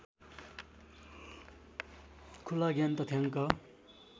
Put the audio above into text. खुला ज्ञान तथ्याङ्क